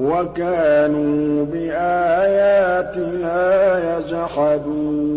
وَكَانُوا بِآيَاتِنَا يَجْحَدُونَ